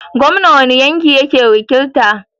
Gomna wani yanki yake wakilta?